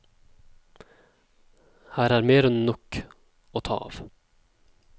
Her er mer enn nok å ta av.